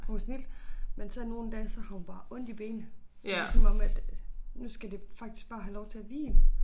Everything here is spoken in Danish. Hun kan snildt men så nogle dage så har hun bare ondt i benet så det ligesom om at nu skal det faktisk bare have lov til at hvile